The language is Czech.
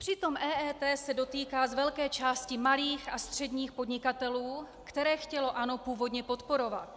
Přitom EET se dotýká z velké části malých a středních podnikatelů, které chtělo ANO původně podporovat.